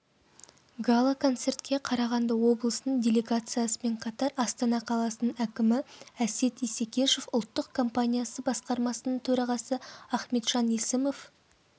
гала-концертке қарағанды облысының делегациясымен қатар астана қаласының әкімі әсет исекешев ұлттық компаниясы басқармасының төрағасы ахметжан есімов